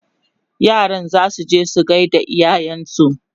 yaran zasu je su gaida iyayensu